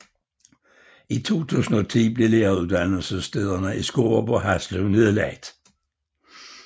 I 2010 blev læreruddannelsesstederne i Skårup og Haslev nedlagt